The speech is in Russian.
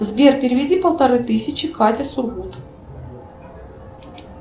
сбер переведи полторы тысячи кате сургут